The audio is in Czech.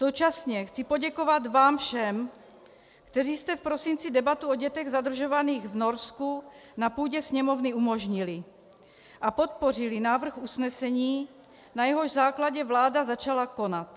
Současně chci poděkovat vám všem, kteří jste v prosinci debatu o dětech zadržovaných v Norsku na půdě Sněmovny umožnili a podpořili návrh usnesení, na jehož základě vláda začala konat.